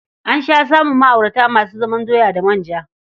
An sha samun ma'aurata masu zaman doya da manja.